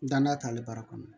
Dannan t'ale baara kɔnɔ